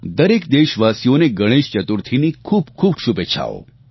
દરેક દેશવાસીઓને ગણેશચતુર્થીની ખૂબખૂબ શુભેચ્છાઓ